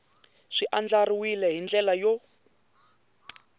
swi andlariwile hi ndlela yo